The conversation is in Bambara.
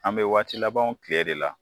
An bɛ waati labanw tile de la.